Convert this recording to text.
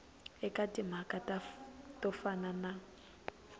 eka timhaka to fana na